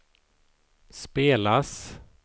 spelas